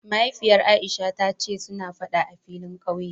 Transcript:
Mahaifiyar Aisha ta ce suna Fada a filin kauye